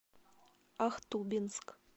ахтубинск